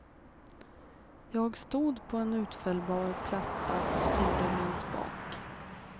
Jag stod på en utfällbar platta och styrde med en spak.